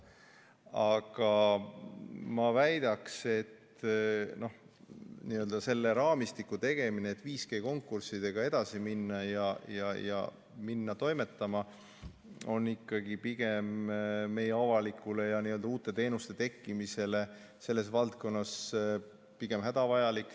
Aga ma väidaks, et selle raamistiku tegemine, et 5G konkurssidega edasi minna ja hakata toimetama, on ikkagi pigem meie avalikele teenustele ja uute teenuste tekkimisele selles valdkonnas hädavajalik.